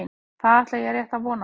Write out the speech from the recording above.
Það ætla ég rétt að vona.